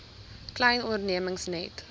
klein ondernemings net